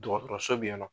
Dɔgɔtɔrɔso bɛ yen nɔ